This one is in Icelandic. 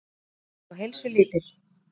Hún var orðin svo heilsulítil.